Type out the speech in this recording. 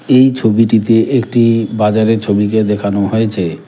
এই ছবিটিতে একটি বাজারের ছবিকে দেখানো হয়েছে।